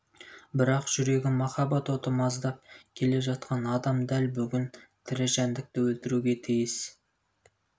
бірақ жүрегін махаббат оты маздап келе жатқан адам дәл бүгін тірі жәндікті өлтіруге тиіс